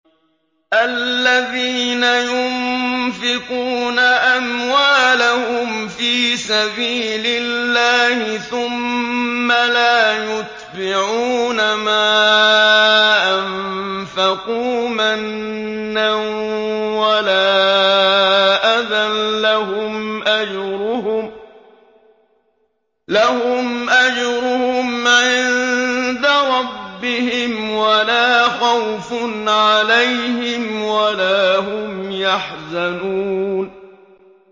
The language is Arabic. الَّذِينَ يُنفِقُونَ أَمْوَالَهُمْ فِي سَبِيلِ اللَّهِ ثُمَّ لَا يُتْبِعُونَ مَا أَنفَقُوا مَنًّا وَلَا أَذًى ۙ لَّهُمْ أَجْرُهُمْ عِندَ رَبِّهِمْ وَلَا خَوْفٌ عَلَيْهِمْ وَلَا هُمْ يَحْزَنُونَ